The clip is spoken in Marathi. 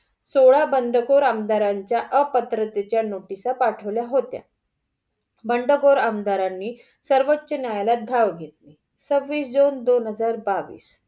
सोळा बंडखोर आमदारांच्या अपात्रतेतच्या नोटीस पाठवल्या होत्या. बंडखोर आमदारांनी धाव घेतली. सहवीस जून दोन हजार बावीस.